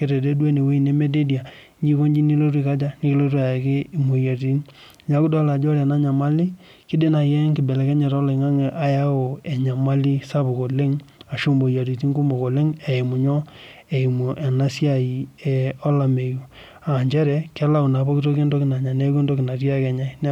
kedede duo enewuei nemededia, nijo aiko nji nikilotu ako aja, nikilotu ayaki imwoyiaritin. Neaku idol ajo ore ena nyamali kiidim naai enkibelekenyata oloing'ang'e ayau enyamali sapuk oleng ashu moyiaritin kumok oleng eimu nyoo, eimu ena siai olameyu aa nchere kelau naa pooki toki entoki nanya neeku entoki ake natii enya neeku